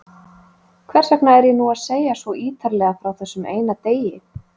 Hversvegna er ég nú að segja svo ýtarlega frá þessum eina degi?